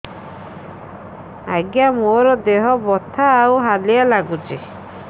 ଆଜ୍ଞା ମୋର ଦେହ ବଥା ଆଉ ହାଲିଆ ଲାଗୁଚି